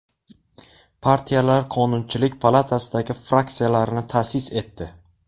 Partiyalar Qonunchilik palatasidagi fraksiyalarini ta’sis etdi.